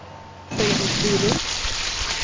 Fredrik Bylund